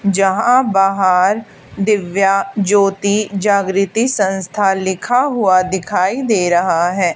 जहां बाहर दिव्या ज्योति जागृती संस्था लिखा हुआ दिखाई दे रहा है।